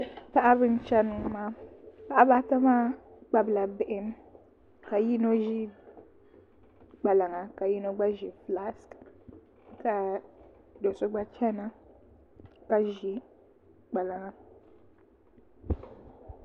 Paɣaba n chɛni ŋɔ paɣaba ata maa kpabila bihi ka yino ʒiri kpalaŋa ka yino gba ʒi fulaas ka do so gba chɛna ka ʒi kpalaŋa